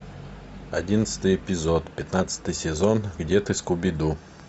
одиннадцатый эпизод пятнадцатый сезон где ты скуби ду